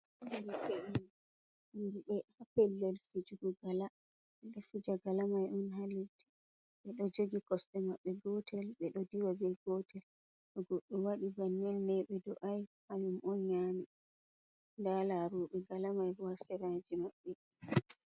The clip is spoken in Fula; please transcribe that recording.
... Yimɓe ha pellel fijugo gala ɓe ɗo fija gala may on haa leddi ɓe ɗo jogi kosɗe maɓɓe gootel ɓe ɗo diwa bee gotel to goɗɗo waɗi banninii ɓe do’ay hanyum on nyaami ndaa laarooɓe gala may ha seraaji maɓɓe.